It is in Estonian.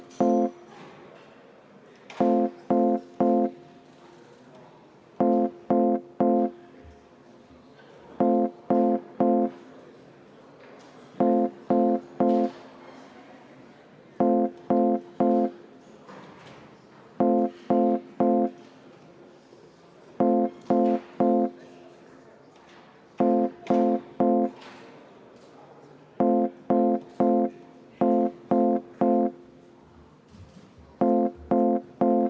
See tähendab, et eelnõu 90 teine lugemine on lõpetatud ja see päevakorrapunkt ammendatud.